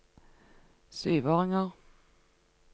syvåringer